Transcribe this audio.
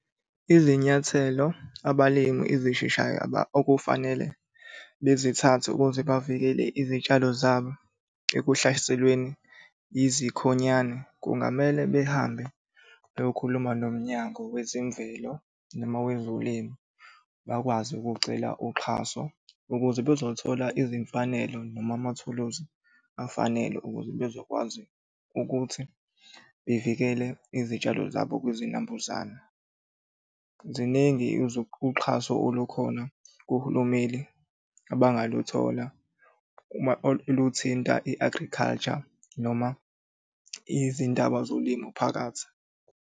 Izinyathelo abalimi ezisheshayo okufanele bezithathe ukuze bavikele izitshalo zabo ekuhlaselweni yizikhonyane kungamele behambe beyokhuluma nomnyango wezemvelo noma wezolimo. Bakwazi ukucela uxhaso ukuze bazothola izimfanelo noma amathuluzi afanele ukuze bezokwazi ukuthi bevikele izitshalo zabo kwizinambuzane. Ziningi uxhaso olukhona kuhulumeni abangaluthola uma luthinta i-agriculture noma izindaba zolimo phakathi.